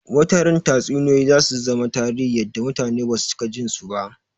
Wata ran Tatsuniyoyi zasu zama tarihi yadda mutane basu cika jin su ba